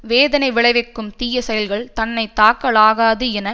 வேதனை விளைவிக்கும் தீய செயல்கள் தன்னை தாக்கலாகாது என